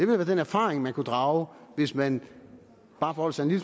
være den erfaring man kunne drage hvis man bare forholdt sig en